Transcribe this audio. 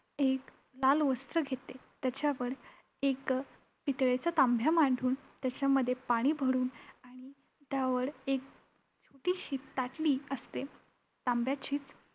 एक लाल वस्त्र घेते, त्याच्यावर एक पितळेचा तांब्या मांडून, त्याच्यामध्ये पाणी भरुन आणि त्यावर एक छोटीशी ताटली असते, तांब्याचीच.